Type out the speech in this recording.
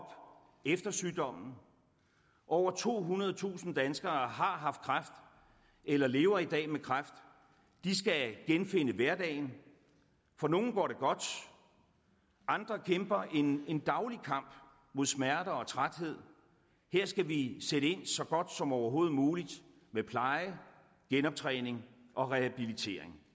efter sygdommen over tohundredetusind danskere har haft kræft eller lever i dag med kræft de skal genfinde hverdagen for nogle går det godt andre kæmper en en daglig kamp mod smerter og træthed her skal vi sætte ind så godt som overhovedet muligt med pleje genoptræning og rehabilitering